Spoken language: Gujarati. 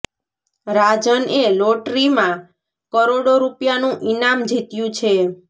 રાજન એ લોટરી માં કરોડો રૂપિયા નું ઇનામ જીત્યું છે